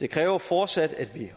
det kræver fortsat at vi